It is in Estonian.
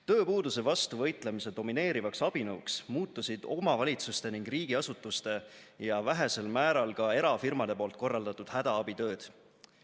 Tööpuuduse vastu võitlemise domineerivaks abinõuks muutusid omavalitsuste ning riigiasutuste ja vähesel määral ka erafirmade poolt korraldatud hädaabitööd.